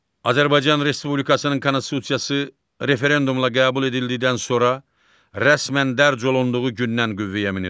Azərbaycan Respublikasının konstitusiyası referendumla qəbul edildikdən sonra rəsmən dərc olunduğu gündən qüvvəyə minir.